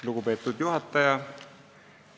Lugupeetud juhataja!